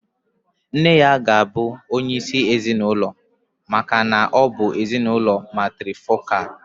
Nne ya ga-abụ onye isi ezinụlọ maka na ọ bụ ezinụlọ matrifocal.